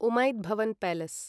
Umaid Bhawan palace